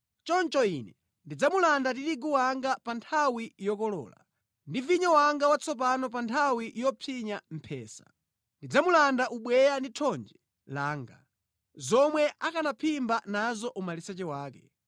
“Choncho Ine ndidzamulanda tirigu wanga pa nthawi yokolola, ndi vinyo wanga watsopano pa nthawi yopsinya mphesa. Ndidzamulanda ubweya ndi thonje langa, zomwe akanaphimba nazo umaliseche wake.